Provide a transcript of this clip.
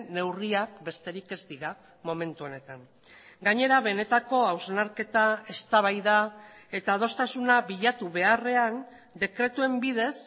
neurriak besterik ez dira momentu honetan gainera benetako hausnarketa eztabaida eta adostasuna bilatu beharrean dekretuen bidez